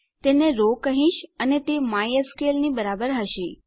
હું તેને રો કહીશ અને તે માયસ્કલ ની બરાબર હશે